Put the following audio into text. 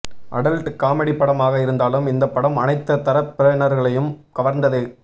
adult comedy படமாக இருந்தாலும் இந்த படம் அனைத்து தரப்பினர்களையும் கவர்ந்தது